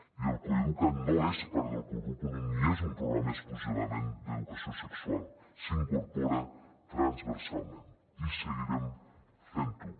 i el coeduca’t no és part del currículum ni és un programa exclusivament d’educació sexual s’incorpora transversalment i seguirem fent ho